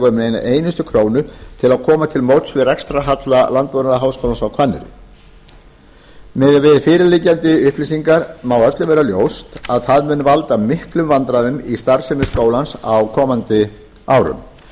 um eina einustu krónu til að koma til móts við rekstrarhalla landbúnaðarháskólans á hvanneyri miðað við fyrirliggjandi upplýsingar má öllum vera ljóst að það mun valda miklum vandræðum í starfsemi skólans á komandi árum